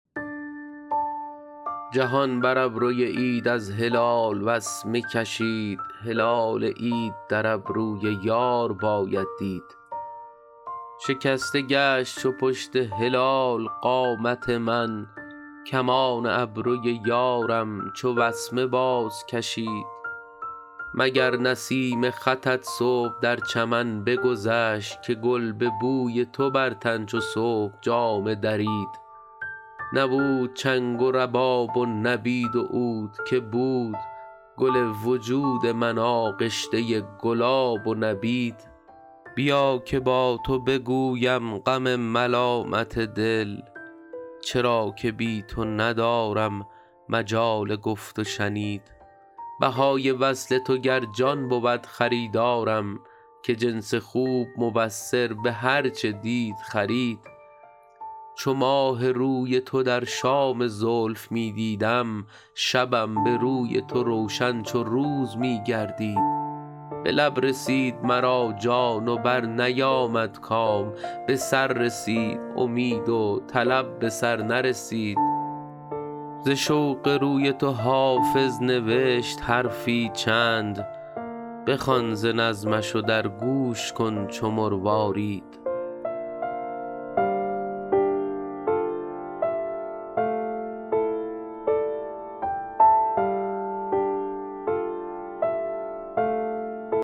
جهان بر ابروی عید از هلال وسمه کشید هلال عید در ابروی یار باید دید شکسته گشت چو پشت هلال قامت من کمان ابروی یارم چو وسمه بازکشید مگر نسیم خطت صبح در چمن بگذشت که گل به بوی تو بر تن چو صبح جامه درید نبود چنگ و رباب و نبید و عود که بود گل وجود من آغشته گلاب و نبید بیا که با تو بگویم غم ملالت دل چرا که بی تو ندارم مجال گفت و شنید بهای وصل تو گر جان بود خریدارم که جنس خوب مبصر به هر چه دید خرید چو ماه روی تو در شام زلف می دیدم شبم به روی تو روشن چو روز می گردید به لب رسید مرا جان و برنیامد کام به سر رسید امید و طلب به سر نرسید ز شوق روی تو حافظ نوشت حرفی چند بخوان ز نظمش و در گوش کن چو مروارید